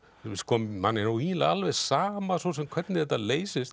manni er eiginlega alveg sama svo sem hvernig þetta leysist